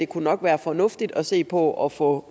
kunne være fornuftigt at se på at få